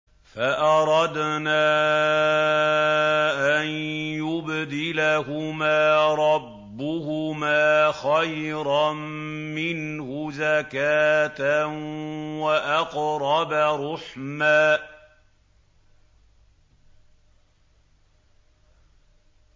فَأَرَدْنَا أَن يُبْدِلَهُمَا رَبُّهُمَا خَيْرًا مِّنْهُ زَكَاةً وَأَقْرَبَ رُحْمًا